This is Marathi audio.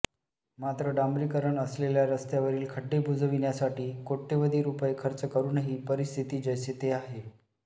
मात्र डांबरीकरण असलेल्या रस्त्यावरील खड्डे बुजविण्यासाठी कोट्यवधी रूपये खर्च करूनही परिस्थिती जैसे थे आहे